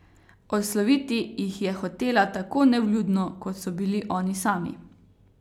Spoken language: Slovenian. Odsloviti jih je hotela tako nevljudno, kot so bili oni sami.